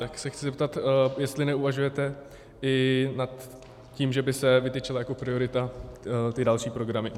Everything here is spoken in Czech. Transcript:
Tak se chci zeptat, jestli neuvažujete i nad tím, že by se vytyčily jako priority ty další programy.